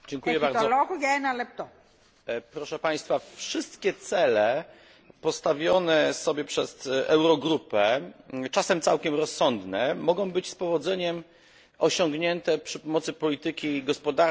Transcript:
Wszystkie cele postawione sobie przez Eurogrupę, czasem całkiem rozsądne, mogą być z powodzeniem osiągnięte przy pomocy polityki gospodarczej, społecznej i podatkowej państw członkowskich.